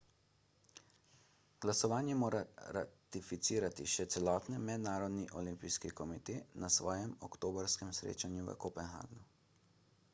glasovanje mora ratificirati še celotni mednarodni olimpijski komite na svojem oktobrskem srečanju v kopenhagnu